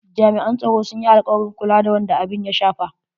Jami'an tsaro sun yi alkawarin kula da wanda abun ya shafa.